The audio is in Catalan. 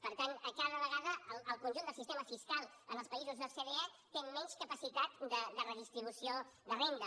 per tant cada vegada el conjunt del sistema fiscal en els països ocde té menys capacitat de redistribució de renda